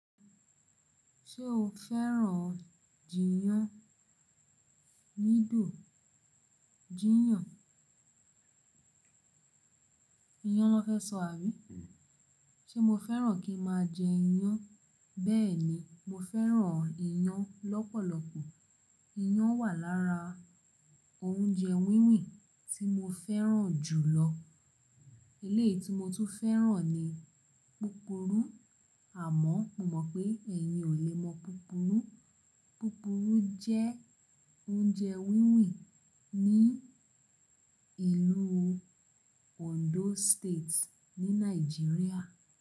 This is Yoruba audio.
Ṣé o fẹ́ràn jiyán? Nígbà jiyán, iyán ló fẹ́ sọ àbí? Ṣé mo fẹ́ràn kí má jẹ iyán? Bẹ́ẹ̀ni, mo fẹ́ràn iyán lọ́pọ̀lọpọ̀. Iyán wà lára oúnjẹ wíwìn tí mo fẹ́ràn jù lọ. Eléyìí tí mo tún fẹ́ràn ni púpúrú. Àmọ́ mo mọ̀ pé ẹ̀yin ò le mọ púpúrú. Púrúrú jẹ́ oúnjẹ wíwìn ní ìlú Ondo State ní Nàìjíríà.